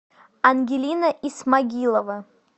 ангелина исмагилова